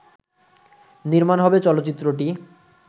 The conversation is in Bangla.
নির্মাণ হবে চলচ্চিত্রটি